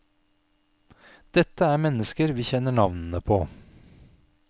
Dette er mennesker vi kjenner navnene på.